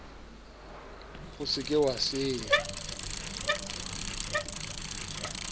o se ke wa senya